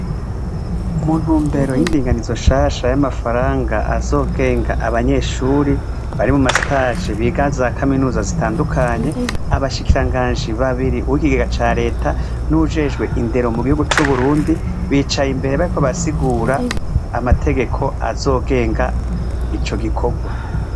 Mu ntumbero y'indinganizwa nshasha y'amafaranga azogenga abanyeshuri bari mu ma stage biga za kaminuza zitandukanye, abashikiranganji babiri uw'ikigega ca reta n'uwujejwe indero mu gihugu c'uburundi bicaye imbere bariko barasigura amategeko azogenga ico gikogwa.